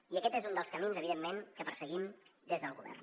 i aquest és un dels camins evidentment que perseguim des del govern